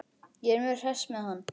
Ég er mjög hress með hann.